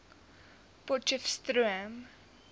potcheftsroom